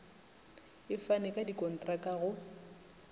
e fane ka dikontraka go